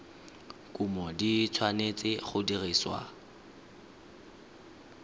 kumo di tshwanetse go dirisiwa